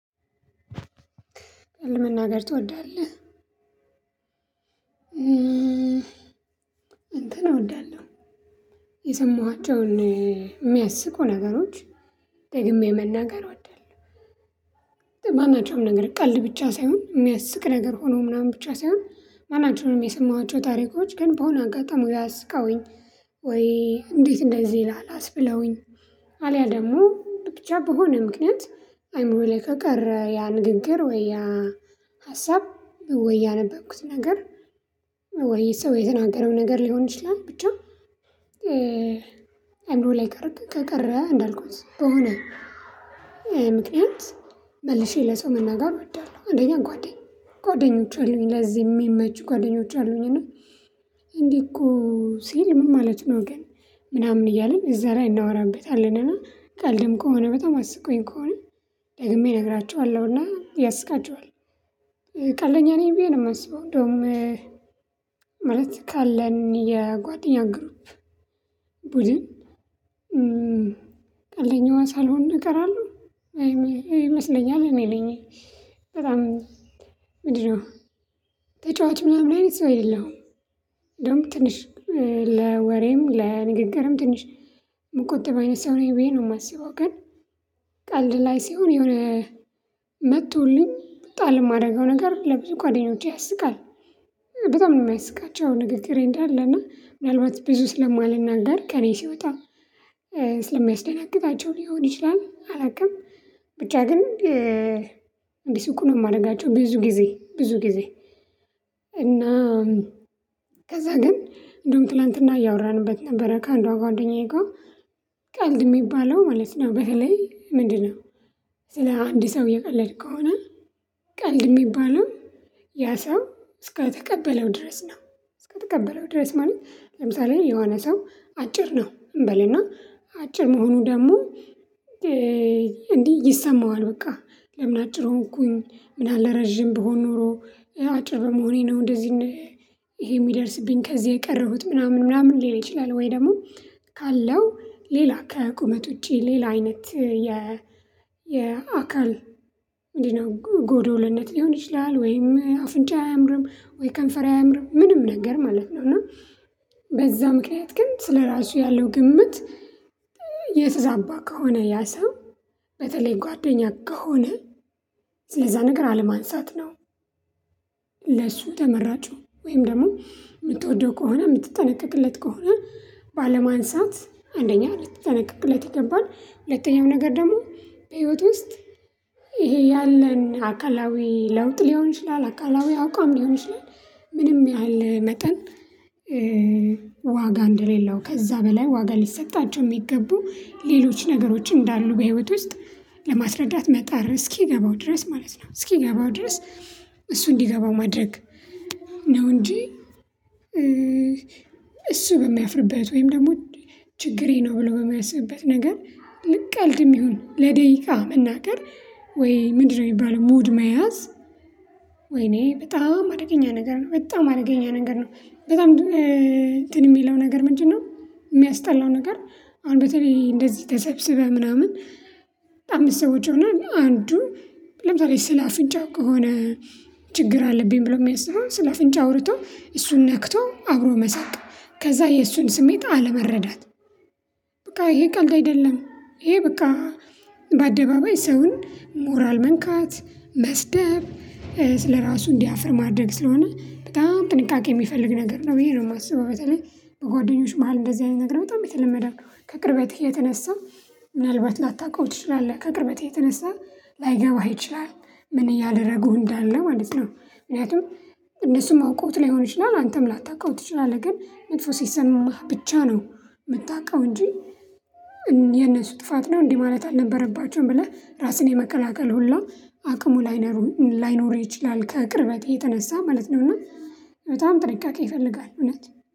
ቀልድ መናገር ትወዳለህ? እንትን ነው እንዳለው። የሰማኋቸውን የሚያስቁ ነገሮች ደግሜ መናገር ወዳለሁ። ማናቸውም ነገር ቀልድ ብቻ ሳይሆን የሚያስቅ ነገር ሆኖ ምናምን ብቻ ሳይሆን ማናቸውንም የሰማኋቸው ታሪኮች ግን በሆነ አጋጣሚ ወይ አስቀውኝ ወይ እንዴት እንደዚህ ይላል? አስብለውኝ አልያ ደግሞ ብቻ በሆነ ምክንያት አይሞልከቅረ ያ ንግግር ወይ ያ ሀሳብ ወይ ያነበብኩት ነገር ወይ ሰው የተናገረው ነገር ሊሆን ይችላል። ብቻ አይምሮ ላይ ከቀረ ከቀረ እንዳልኩት በሆነ ምክንያት መልሼ ለሰው መናገር እወዳለሁ። አንደኛ ጓደኞች አሉኝ። ለዚህ የሚመች ጓደኞች አሉኝ። እና እንዴ እኮ ሲል ምን ማለት ነው? ግን ምናምን እያልን እዛ ላይ እናወራበታለንና ቀልድም ከሆነ በጣም አስቆኝ ከሆነ ደግሜ እነግራችኋለሁና ያስቃቸዋል ቀልድኛ ብዬ ነው የማስበው እንደውም ማለት ካለን የጓደኛ ግሩፕ ቡድን ቀልደኛዋ ሳልሆን እቀራለሁ ይመስለኛል እኔ ነኝ በጣም ምንድነው? ተጫዋች ምናምን አይነት ሰው አይደለውም ደግሞ ትንሽ ለወሬም ለንግግርም ትንሽ ሲሆን የሆነ መጡልኝ ጣል ለማደርገው ነገር ለብዙ ጓደኞቼ ያስቃል በጣም ነው የሚያስቃቸው። ንግግሬ እንዳለ እና ምናልባት ብዙ ስለማልናደርግ ከእኔ ሲወጣ ስለሚያስደናግጣቸው ሊሆን ይችላ። አላውቅም ብቻ ግን እንዲስቁ ነው የማደርጋቸው። ብዙ ጊዜ ብዙ ጊዜ እና ከዛ ግን እንደውም ትላንትና እያወራንበት ነበረ ከአንዷ ጓደኛዬ ጋር ቀልድ የሚባለው ማለት ነው። በተለይ ምንድነው ስለ አንድ ሰው የቀለድኩ ከሆነ ቀልድ የሚባለው ያ ሰው እስከተቀበለው ድረስ ነው እስከተቀበለው ድረስ ማለት? ለምሳሌ የሆነ ሰው አጭር ነው እንበልና አጭር መሆኑ ደግሞ እንዲህ ይሰማዋል በቃ ለምን አጭር ሆንኩኝ ምናልባት ረጅም ብሆን ኖሮ አጭር በመሆኔ ነው። እንደዚህ ይሄ የሚደርስብኝ ከዚህ የቀረሁት ምናምን ምናምን ሊል ይችላል ወይ ደግሞ ካለው ሌላ ከቁመት ውጪ ሌላ አይነት የ የአካል እንዲህ ነው ጎዶልነት ሊሆን ይችላል። ወይም አፍንጫ አያምርም፤ ወይ ከንፈራ አያምርም፤ ምንም ነገር ማለት ነው። እና በዛ ምክንያት ግን ስለራሱ ያለው ግምት የተዛባ ከሆነ ያ ሰው በተለይ ጓደኛ ከሆነ ስለዛ ነገር አለማንሳት ነው። ለሱ ተመራጩ ወይም ደግሞ የምትወደው ከሆነ የምትጠነቀቅለት ከሆነ ባለማንሳት አንደኛ ልትጠነቀቅለት ይገባል። ሁለተኛው ነገር ደግሞ በህይወት ውስጥ ይሄ ያለን አካላዊ ለውጥ ሊሆን ይችላል። አካላዊ አቋም ሊሆን ይችላል ምንም ያህል መጠን ዋጋ እንደሌለው ከዛ በላይ ዋጋ ሊሰጣቸው የሚገቡ ሌሎች ነገሮች እንዳሉ በህይወት ውስጥ ለማስረዳት መጣር እስኪገባው ድረስ ማለት ነው። እስኪገባው ድረስ እሱ እንዲገባው ማድረግ ነው። እንጂ እሱ በሚያፍርበት ወይም ደግሞ ችግሬ ነው ብሎ የሚያስብበት ነገር ቀልድም ይሁን ለደቂቃ ብናገር ወይ ምንድነው የሚባለው? ሙድ መያዝ ወይኔ በጣም አደገኛ ነገር ነው። በጣም አደገኛ ነገር ነው በጣም እንትን የሚለው ነገር ምንድን ነው? የሚያስጠላው ነገር? አሁን በተለይ እንደዚህ ተሰብስበህ ምናምን በጣም ሰዎች ሆነ አንዱ ለምሳሌ ስለ አፍንጫው ከሆነ ችግር አለብኝ ብሎ የሚያስበው ስለ አፍንጫ አውርቶ እሱን ነክቶ አብሮ መሰቅ ከዛ የእሱን ስሜት አለመረዳት በቃ ይሄ ቀልድ አይደለም። ይሄ በቃ በአደባባይ ሰውን ሞራል መንካት መስደብ ስለራሱ እንዲያፍር ማድረግ ስለሆነ በጣም ጥንቃቄ የሚፈልግ ነገር ነው። ብዬ ነው የማስበው በተለይ በጓደኞች መሃል እንደዚህ አይነት ነገር በጣም የተለመደ ከቅርበትህ የተነሳ ምናልባት ላታውቀው ትችላለህ። ከቅርበቴ የተነሳ ላይገባህ ይችላል። ምን እያደረገው እንዳለ ማለት ነው ምክንያቱም እነሱም አውቆት ሊሆን ይችላል። አንተም ላታውቀው ትችላለህ። ግን መጥፎ ሲሰማህ ብቻ ነው የምታውቀው እንጂ የነሱ ጥፋት ነው እንዲህ ማለት አልነበረባቸውም ብለህ ራስን የመከላቀል ሁሉ አቅሙ ላይኖሩ ይችላ። ከቅርበቴ የተነሳ ማለት ነው። እና በጣም ጥንቃቄ ይፈልጋል። እውነት